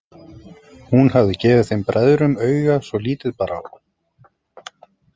Hún hafði gefið þeim bræðrum auga svo lítið bar á.